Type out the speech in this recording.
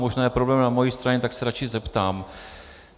Možná je problém na mojí straně, tak se radši zeptám.